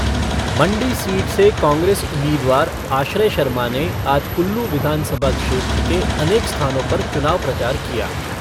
मण्डी seat से कांग्रेस उम्मीदवार आश्रय शर्मा ने आज कुल्लू विधानसभा क्षेत्र के अनेक स्थानों पर चुनाव प्रचार किया।